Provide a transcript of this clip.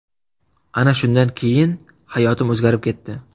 Ana shundan keyin hayotim o‘zgarib ketdi.